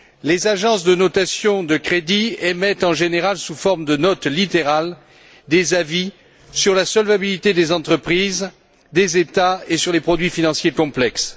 Les agences de notation de crédits émettent en général, sous forme de notes littérales, des avis sur la solvabilité des entreprises, des États et sur les produits financiers complexes.